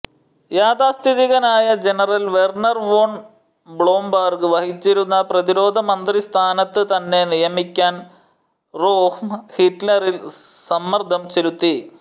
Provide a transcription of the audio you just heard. യാഥാസ്ഥിതികനായ general Werner von Blomberg വഹിച്ചിരുന്ന പ്രതിരോധമന്ത്രിസ്ഥാനത്ത് തന്നെ നിയമിക്കാൻ റോഹ്മ് ഹിറ്റ്ലറിൽ സമ്മർദ്ദം ചെലുത്തി